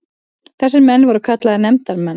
Þessir menn voru kallaðir nefndarmenn.